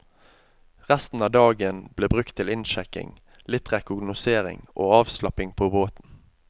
Resten av dagen ble brukt til innsjekking, litt rekognosering og avslapping på båten.